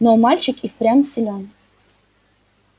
но мальчик и впрямь силён